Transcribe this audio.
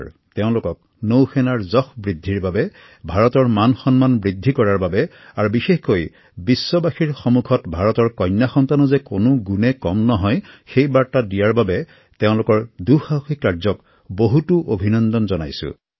ভাৰতীয় নৌসেনাৰ সুনাম বৃদ্ধিৰ বাবে তথা দেশলৈ সন্মান কঢ়িয়াই অনাৰ বাবে আৰু বিশেষকৈ বিশ্ববাসীৰ সন্মুখত ভাৰতৰ কন্যা সন্তানো যে কোনোগুণে কম নহয় তাক প্ৰতিষ্ঠা কৰাৰ বাবে মই পুনৰ এবাৰ তেওঁলোকৰ দুঃসাহসিক কাৰ্যক অভিনন্দন জনাইছো